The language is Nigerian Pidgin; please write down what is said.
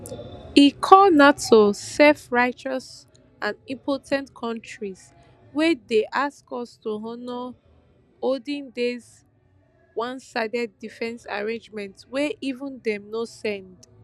e call nato selfrighteous and impo ten t kontris wey dey ask us to honour oldendays onesided defence arrangements wey even dem no send